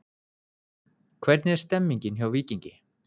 Hvernig er stemningin hjá Víkingi?